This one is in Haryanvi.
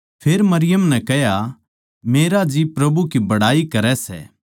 फेर मरियम नै कह्या मेरा जी प्रभु की बड़ाई करै सै